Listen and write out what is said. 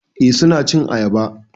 Eh suna cin ayaba